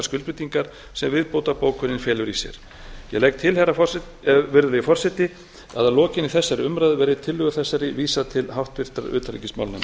skuldbindingar sem viðbótarbókunin felur í sér ég legg til virðulegi forseti að að lokinni þessari umræðu verði tillögu þessari vísað til háttvirtrar utanríkismálanefndar